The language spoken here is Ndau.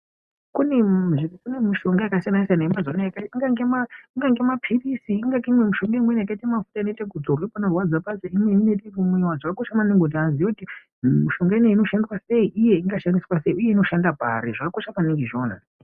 Kune mushonga yakasiyana siyana yemazuwa anaya ingange mapirisi imweni mushonga yaita mafuta imweni inoitwa wekuzorwa zvakakosha maningi kuti muntu aziye kuti mushonga iyi inoshandiswa sei uye inoshanda pari zvakakosha maningi izvona